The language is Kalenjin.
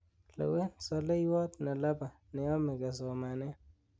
lewen zaleiywot nelabai negome kesomanen